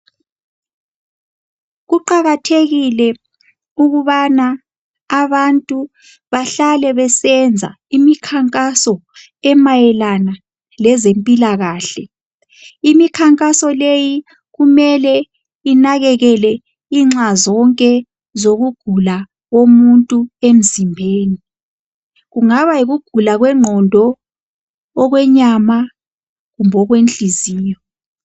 kuqakathekile ukubana abantu bahlale besenza imikhankaso emayelana lezempilakhale imikhankaso leyi kumele inxazonke zokugula komuntu emzimbeni kungaba yikugula kwenqondo okwenyama kumbe okwenhliziyo